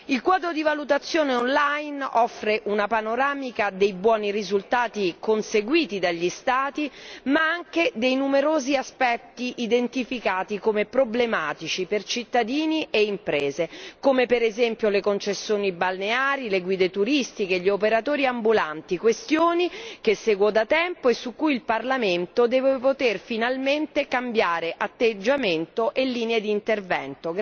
Il quadro di valutazione online offre una panoramica dei buoni risultati conseguiti dagli Stati, ma anche dei numerosi aspetti identificati come problematici per cittadini e imprese, come per esempio le concessioni balneari, le guide turistiche, gli operatori ambulanti, questioni che seguo da tempo e su cui il Parlamento deve poter finalmente cambiare atteggiamento e linea d'intervento.